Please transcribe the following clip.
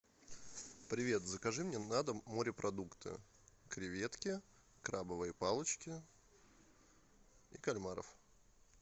привет закажи мне на дом морепродукты креветки крабовые палочки и кальмаров